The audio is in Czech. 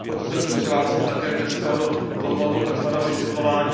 Proto jsem se přihlásil také dneska do tohoto vysvětlování.